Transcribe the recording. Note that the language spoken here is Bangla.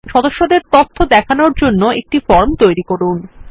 সদস্যদের তথ্য দেখানোর জন্য একটি ফর্ম তৈরী করুন